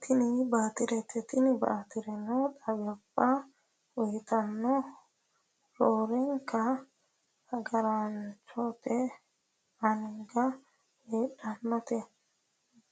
Tini baatirete tini baatireno xawaabba uyiitannote roorenka agaraanote anga heedhannote